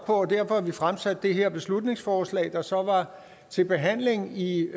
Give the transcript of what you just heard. og derfor har vi fremsat det her beslutningsforslag der så var til behandling i